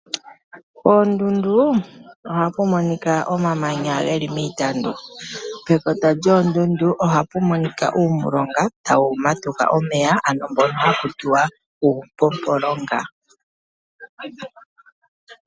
Koondundu ohaku monika iitandu yomamanya. Pekota lyondundu ohapu monika omilonga tadhi matuka omeya ano uupompolonga.